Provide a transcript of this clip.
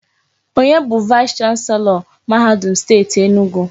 Onye bụ vaịs chanselọ mahadum Steeti Enugwu?